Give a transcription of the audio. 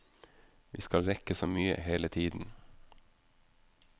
Vi skal rekke så mye hele tiden.